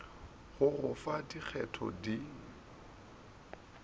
go go fa dikgetho di